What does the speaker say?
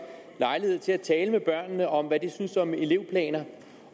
lejlighed til at tale med børnene om hvad de syntes om elevplaner